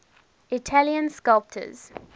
italian sculptors